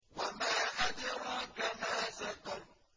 وَمَا أَدْرَاكَ مَا سَقَرُ